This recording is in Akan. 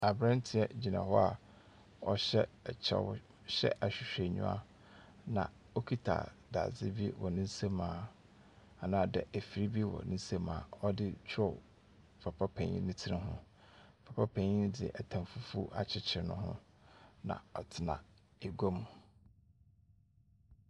Aberantsɛ gyina hɔ a ɔhyɛ kyɛw na ɔhyɛ ahwehwɛnyiwa na okitsa dadze bi wɔ ne nsamu anaa dɛ efir bi wɔ ne nsamu a ɔde rotwerɛw papa panyin ne tsir ho. Papa panyin no dze tam fufuw akyekyer no ho. Na ɔtsena egua mu.